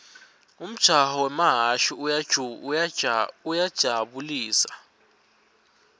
umjaho wemahhashi uyajabu lisa